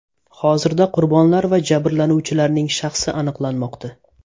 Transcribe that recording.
Hozirda qurbonlar va jabrlanuvchilarning shaxsi aniqlanmoqda.